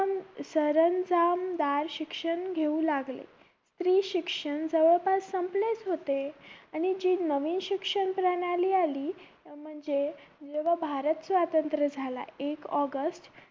सरंजामदार शिक्षण घेऊ लागले स्त्री शिक्षण जवळपास संपलेच होते आणि जी नवीन शिक्षण प्रणाली आली म्हणजे जेव्हा भारत स्वातंत्र झाला एक ऑगस्ट